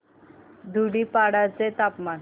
धुडीपाडा चे तापमान